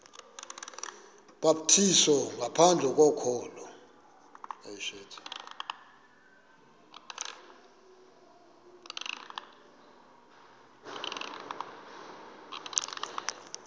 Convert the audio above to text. ubhaptizo ngaphandle kokholo